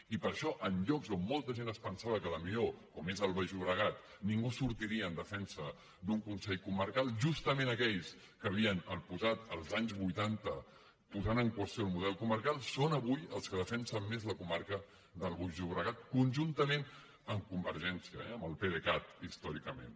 i per això en llocs on molta gent es pensava que potser com és el baix llobregat ningú sortiria en defensa d’un consell comarcal justament aquells que havien posat als anys vuitanta en qüestió el model comarcal són avui els que defensen més la comarca del baix llobregat conjuntament amb convergència eh amb el pdecat històricament